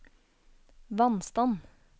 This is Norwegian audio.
vannstand